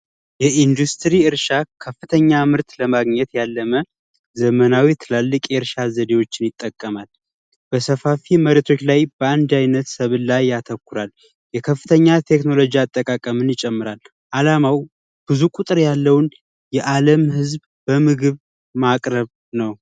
ኢንዱስትሪ እርሻ ከፍተኛ ምርት ለማግኘት ዘመናዊ ትላሊቅ ይርሻ ዘዴዎችን ይጠቀማል በሰፋፊ ምርቶች ላይ ያተኩራ የከፍተኛ ቴክኖሎጂ አጠቃቀም ይጨምራል አላማው ብዙ ቁጥር ያለውን የአለም ህዝብ በምግብ ማቅረብ ነው።